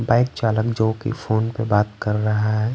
Bike चालक जो कि फोन पे बात कर रहा हैं।